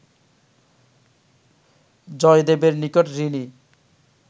জয়দেবের নিকট ঋণী